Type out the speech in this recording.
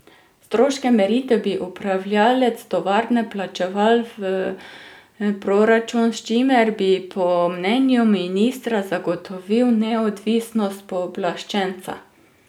Stroške meritev bi upravljalec tovarne plačeval v proračun, s čimer bi po mnenju ministra zagotovili neodvisnost pooblaščenca.